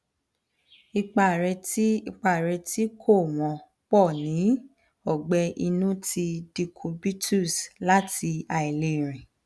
ipa re ti ipa re ti ko won po ni ogbe inu ti decubitus lati ailerin